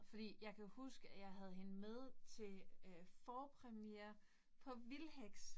Fordi jeg kan huske, at jeg havde hende med til øh forpremiere på Vildheks